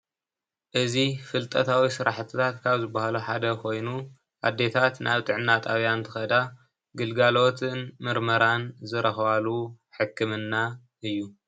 እዚ ፍልጠታዊ ስራሕቲታት ካብ ዝብሃሉ ሓደ ኮይኑ ኣዴታት ናብ ጥዕና ጣብያ እንትከዳ ግልጋሎትን ምርምራን ዝረክባሉ ሕክምና እዩ፡፡